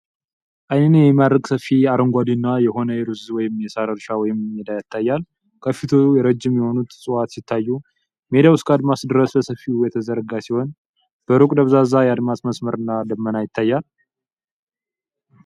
ዓይንን የሚማርክ ሰፊና አረንጓዴ የሆነ የሩዝ ወይም የሣር እርሻ ወይም ሜዳ ይታያል። ከፊቱ ረጅም የሆኑት እፅዋት ሲታዩ፣ ሜዳው እስከ አድማስ ድረስ በሰፊው የተዘረጋ ሲሆን፣ በሩቅ ደብዛዛ የአድማስ መስመር እና ደመና ይታያል።